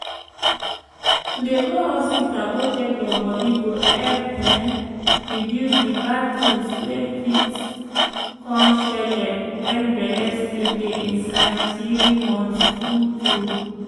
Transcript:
to dey go hospita go check your bodi go epp um reduce di bad tins wey fit um shelle wen belle still dey inside tiri months tru tru